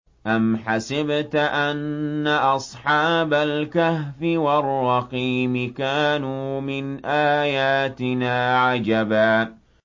أَمْ حَسِبْتَ أَنَّ أَصْحَابَ الْكَهْفِ وَالرَّقِيمِ كَانُوا مِنْ آيَاتِنَا عَجَبًا